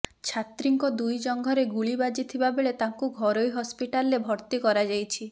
ଛାତ୍ରୀଙ୍କ ଦୁଇ ଜଂଘରେ ଗୁଳି ବାଜିଥିବାବେଳେ ତାଙ୍କୁ ଘରୋଇ ହସ୍ପିଟାଲରେ ଭର୍ତ୍ତି କରାଯାଇଛି